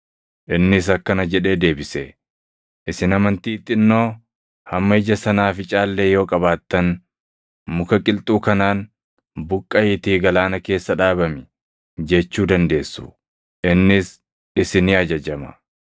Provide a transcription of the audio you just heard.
Innis akkana jedhee deebise; “Isin amantii xinnoo hamma ija sanaaficaa illee yoo qabaattan, muka qilxuu kanaan, ‘Buqqaʼiitii galaana keessa dhaabami!’ jechuu dandeessu; innis isinii ajajama.